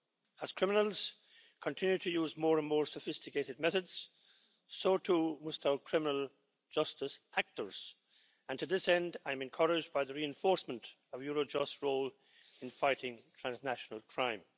As criminals continue to use more and more sophisticated methods, so too must our criminal justice actors, and to this end, I'm encouraged by the reinforcement of Eurojust's role in fighting transnational crime.